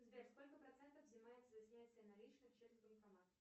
сбер сколько процентов взимает за снятие наличных через банкомат